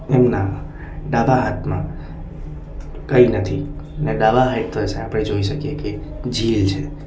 એમના ડાબા હાથમાં કંઈ નથી ને ડાબા હાઈડ પર આપણે જોઈ શકીએ કે ઝીલ છે.